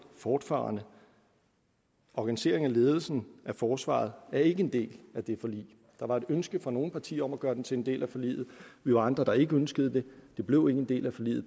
fortfarende organisering af ledelsen af forsvaret er ikke en del af det forlig der var et ønske fra nogle partier om at gøre det til en del af forliget vi var andre der ikke ønskede det det blev ikke en del af forliget